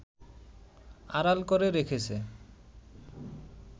আড়াল করে রেখেছে